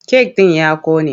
Kek ɗin ya ƙone.